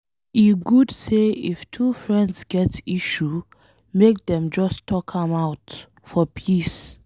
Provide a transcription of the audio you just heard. E good say if two friends get issue, make dem just talk am out for peace.